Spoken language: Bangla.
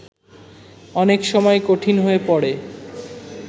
অনেক সময় কঠিন হয়ে পড়ে